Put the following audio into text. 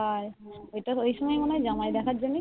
তাই ওই সময় বোধয় জামাই দেখার জন্য